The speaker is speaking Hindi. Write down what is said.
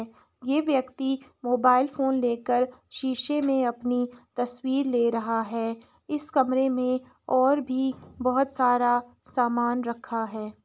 यह व्यक्ति मोबाइल फोन लेकर शीशे में अपनी तस्वीर ले रहा है। इस कमरे में और भी बहुत सारा समान रखा है।